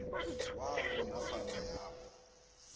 wabo nofana yabo